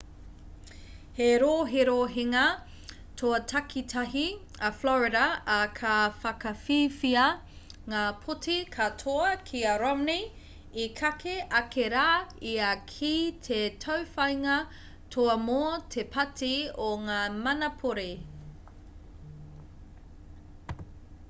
he roherohenga toa takitahi a florida ā ka whakawhiwhia ngā pōti katoa ki a romney i kake ake rā ia ki te tauwhāinga toa mō te pāti o ngā manapori